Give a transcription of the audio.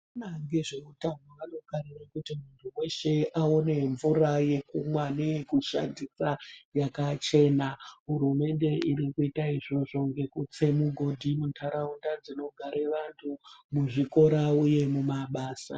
Vanoona ngezveutano vanofarire kuti muntu weshe aone mvura yekumwa neyekushandisa yakachena. Hurumende irikuita izvozvo ngekutse mugodhi muntaraunda dzinogare vantu, muzvikora uye mumabasa.